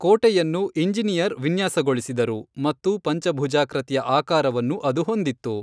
ಕೋಟೆಯನ್ನು ಇಂಜಿನಿಯರ್ ವಿನ್ಯಾಸಗೊಳಿಸಿದರು ಮತ್ತು ಪಂಚಭುಜಾಕೃತಿಯ ಆಕಾರವನ್ನು ಅದು ಹೊಂದಿತ್ತು.